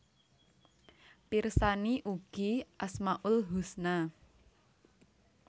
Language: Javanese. Pirsani ugi Asmaul husna